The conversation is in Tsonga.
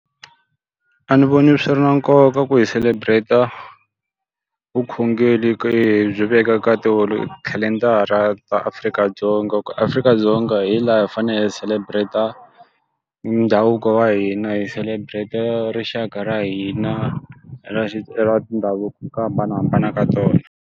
A ni voni swi ri na nkoka ku hi celebrate-a vukhongeri byi vekaka khalendara ta Afrika-Dzonga. Ku Afrika-Dzonga hi laha hi fanele hi celebrate-a ndhavuko wa hina, hi celebrate-a rixaka ra hina ra ra mindhavuko hi ku hambanahambana ka tona.